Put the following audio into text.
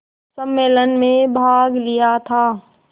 सम्मेलन में भाग लिया था